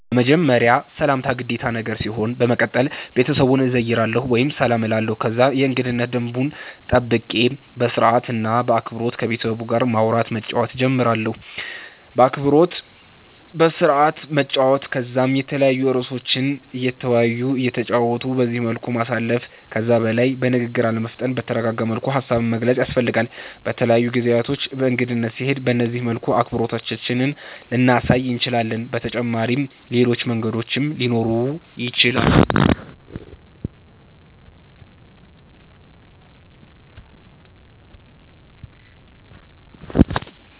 በመጀመርያ ሰላምታ ግዴታ ነገር ሲሆን በመቀተል ቤተሰቡን እዘይራለሁ ወይም ሰላም እላለሁ ከዛ የእንገዳነት ደንቡን ጠብቄ በስርአት እና በአክበሮት ከቤተሰቡ ጋር ማዉራት መጫወት ጀምራለሁ። በአክብሮት በስርአት መጨዋወት ከዛም የተለያዩ እርእሶችን እየተወያዩ እየተጨዋወቱ በዚህ መልኩ ማሳለፍ። ከዛ በላይ በንግግር አለመፍጠን በተረጋጋ መልኩ ሃሳብን መግለፅ ያስፈልጋል። በተለያዩ ጊዜያቶች በእንግድነት ስንሄድ በነዚህ መልኩ አክብሮታችንን ልናሳይ እንችላለን። በተጫመሪም ሌሎች መንገዶችም ሊኖሩ ይችላሉ